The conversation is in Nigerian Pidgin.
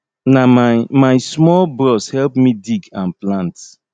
na my my small bros help me dig and plant